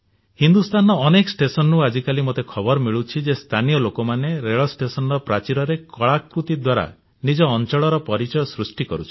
ହିନ୍ଦୁସ୍ଥାନର ଅନେକ ଷ୍ଟେସନରୁ ଆଜିକାଲି ମୋତେ ଖବର ମିଳୁଛି ଯେ ସ୍ଥାନୀୟ ଲୋକମାନେ ରେଳ ଷ୍ଟେସନର ପ୍ରାଚୀରରେ କଳାକୃତୀ ଦ୍ୱାରା ନିଜ ଅଞ୍ଚଳର ପରିଚୟ ସୃଷ୍ଟି କରୁଛନ୍ତି